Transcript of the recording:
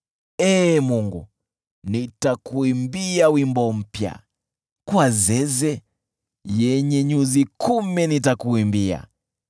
Ee Mungu, nitakuimbia wimbo mpya, kwa zeze yenye nyuzi kumi nitakuimbia,